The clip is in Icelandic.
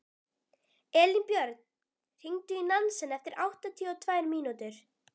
Elínbjörg, hringdu í Nansen eftir áttatíu og tvær mínútur.